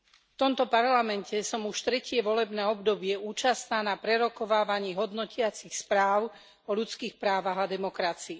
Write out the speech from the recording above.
V tomto Parlamente som už tretie volebné obdobie účastná na prerokovávaní hodnotiacich správ o ľudských právach a demokracii.